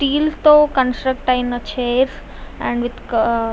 steel తో construct ఐన chairs and --